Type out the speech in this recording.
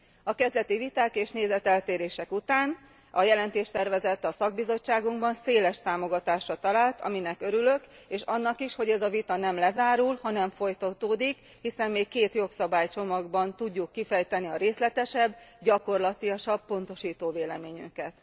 A kezdeti viták és nézeteltérések után a jelentéstervezet a szakbizottságunkban széles támogatásra talált, aminek örülök, és annak is, hogy ez a vita nem lezárul, hanem folytatódik, hiszen még két jogszabálycsomagban tudjuk kifejteni a részletesebb, gyakorlatiasabb pontosító véleményünket.